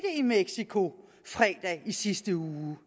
i mexico fredag i sidste uge